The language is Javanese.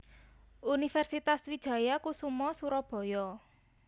Universitas Wijaya Kusuma Surabaya